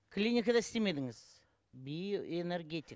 клиникада істемедіңіз биоэнергетик